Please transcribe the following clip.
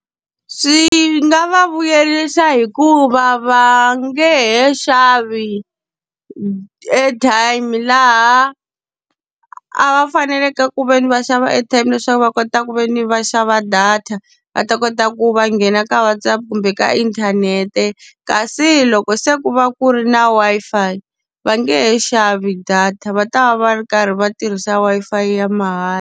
Swi nga va vuyerisa hikuva va nge he xavi airtime laha a va faneleke ku ve ni va xava airtime leswaku va kota ku ve ni va va xava data, va ta kota ku va nghena ka WhatsApp kumbe ka inthanete. Kasi loko se ku va ku ri na Wi-Fi va nge he xavi data va ta va va ri karhi va tirhisa Wi-Fi ya mahala.